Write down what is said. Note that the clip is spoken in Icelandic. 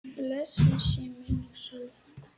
Blessuð sé minning Sollu frænku.